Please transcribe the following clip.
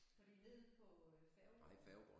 Fordi nede på øh Færgegaarden